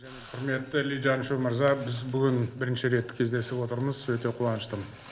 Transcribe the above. құрметті ли чжаньшу мырза біз бүгін бірінші рет кездесіп отырмыз өте қуаныштымын